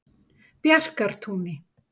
Bjarkartúni